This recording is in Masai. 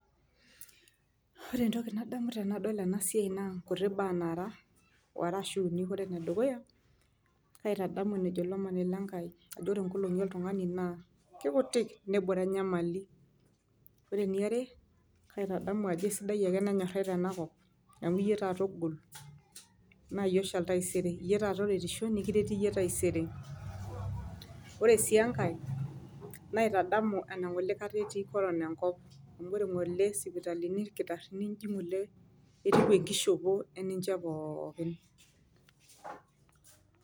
Ore entoki nadamu tenadol ena siai naa nkuti baa nara are ashu uni . Ore ene dukuya , kaitadamu enejo olomoni lenkai ajo ore nkolongi oltungani naa kikutik , nebore enyamali . Ore eniare kaitadamu ajo kaisidai ake tenenyorai tena kop , amu iyie taata ogol naa iyie oshal taisere , iyie taata oretisho, nikireti iyie taisere . Ore sii enkae naitodolu enangole kata etii corona enkop amu ore ngole sipitalini, irkitarini inji ngole etiu enkishopo eninche pookin.